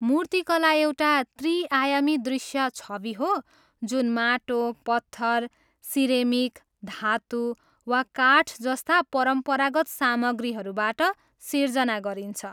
मूर्तिकला एउटा त्रि आयामी दृश्य छवि हो जुन माटो, पत्थर, सिरेमिक, धातु, वा काठ जस्ता परम्परागत सामग्रीहरूबाट सिर्जना गरिन्छ।